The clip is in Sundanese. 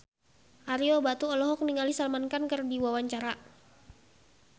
Ario Batu olohok ningali Salman Khan keur diwawancara